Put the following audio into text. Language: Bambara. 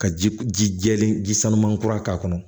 Ka ji jɛlen ji sanuman kura k'a kɔnɔ